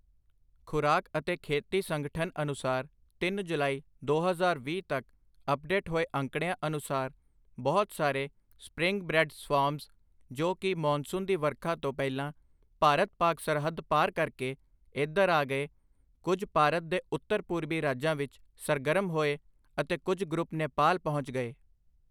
ਖ਼ੁਰਾਕ ਅਤੇ ਖੇਤੀ ਸੰਗਠਨ ਅਨੁਸਾਰ ਤਿੰਨ ਜੁਲਾਈ, ਦੋ ਹਜ਼ਾਰ ਵੀਹ ਤੱਕ ਅੱਪਡੇਟ ਹੋਏ ਅੰਕੜਿਆਂ ਅਨੁਸਾਰ ਬਹੁਤ ਸਾਰੇ ਸਪਰਿੰਗ ਬ੍ਰੈੱਡ ਸਵਾਰਮਜ਼, ਜੋ ਕੀ ਮੌਨਸੂਨ ਦੀ ਵਰਖਾ ਤੋਂ ਪਹਿਲਾਂ ਭਾਰਤ ਪਾਕ ਸਰਹੱਦ ਪਾਰ ਕਰਕੇ ਏਧਰ ਆ ਗਏ, ਕੁੱਝ ਭਾਰਤ ਦੇ ਉੱਤਰ ਪੂਰਬੀ ਰਾਜਾਂ ਵਿੱਚ ਸਰਗਰਮ ਹੋਏ ਅਤੇ ਕੁੱਝ ਗਰੁੱਪ ਨੇਪਾਲ ਪਹੁੰਚ ਗਏ।